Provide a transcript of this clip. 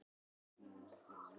Þetta hlýtur að fara að skýrast